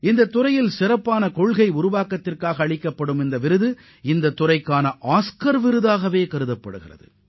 மிகச்சிறந்த கொள்கை உருவாக்கத்திற்கான இந்த விருது ஆஸ்கார் விருதுக்கு இணையானதாகும்